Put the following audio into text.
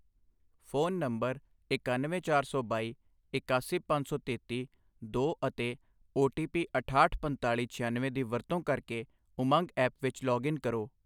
Phone number ਇਕਾਨਵੇਂ ਚਾਰ ਸੌ ਬਾਈ ਇਕਾਸੀ ਪੰਜ ਸੌ ਤੇਤੀ ਦੋ ਅਤੇ ਓ ਟੀ ਪੀ ਅਠਾਹਠ ਪੰਤਾਲ਼ੀ ਛਿਆਨਵੇਂ ਦੀ ਵਰਤੋਂ ਕਰਕੇ ਉਮੰਗ ਐਪ ਵਿੱਚ ਲੌਗਇਨ ਕਰੋ।